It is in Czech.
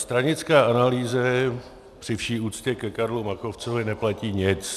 Stranické analýzy při vší úctě ke Karlu Machovcovi neplatí nic.